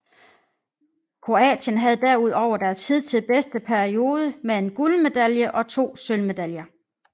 Kroatien havde derudover deres hidtil bedste periode med en guldmedalje og to sølvmedaljer